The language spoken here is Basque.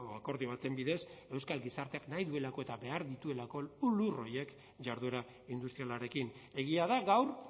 akordio baten bidez euskal gizarteak nahi duelako eta behar dituelako lur horiek jarduera industrialarekin egia da gaur